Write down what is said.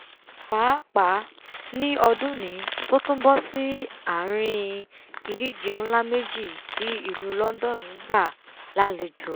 pàápàá ní ọdúnnìí tó tún bọ́ sí àrin ìdíje nlá méjì tí ìlú london gbà lálejò